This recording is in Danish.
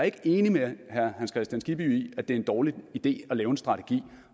ikke enig med herre hans kristian skibby i at det er en dårlig idé at lave en strategi